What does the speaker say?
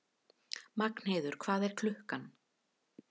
Magnheiður, hvað er klukkan?